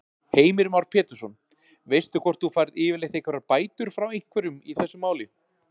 Heimir Már Pétursson: Veistu hvort þú færð yfirleitt einhverjar bætur frá einhverjum í þessu máli?